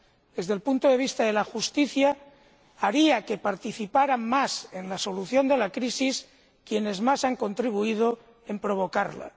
Desde el punto de vista de la justicia, haría que participaran más en la solución de la crisis quienes más han contribuido a provocarla.